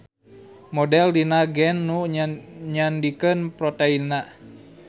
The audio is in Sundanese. Model dina gen nu nyandikeun proteinna.